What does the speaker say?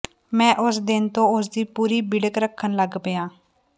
ਮੈਂ ਉਸ ਦਿਨ ਤੋਂ ਉਸ ਦੀ ਪੂਰੀ ਬਿੜਕ ਰੱਖਣ ਲੱਗ ਪਿਆ